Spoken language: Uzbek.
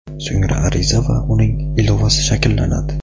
So‘ngra ariza va uning ilovasi shakllanadi.